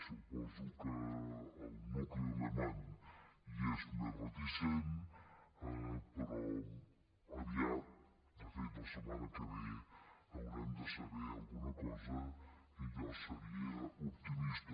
suposo que el nucli alemany hi és més reticent però aviat de fet la setmana que ve haurem de saber alguna cosa i jo seria optimista